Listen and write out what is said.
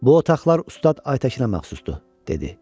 Bu otaqlar ustad Aytəkinə məxsusdur, dedi.